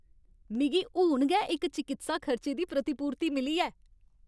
मिगी हून गै इक चकित्सा खर्चे दी प्रतिपूर्ति मिली ऐ।